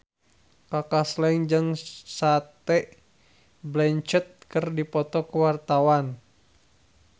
Kaka Slank jeung Cate Blanchett keur dipoto ku wartawan